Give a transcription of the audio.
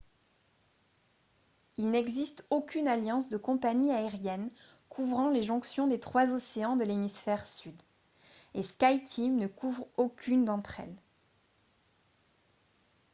il n’existe aucune alliance de compagnies aériennes couvrant les jonctions des trois océans de l’hémisphère sud et skyteam ne couvre aucune d’entre elles